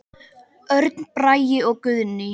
Örn Bragi og Guðný.